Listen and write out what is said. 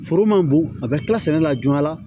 Foro man bon a bɛ tila sɛnɛ la joona